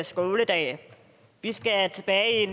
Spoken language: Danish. skoledag vi skal tilbage